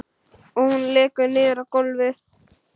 Hún lekur niður á gólfið.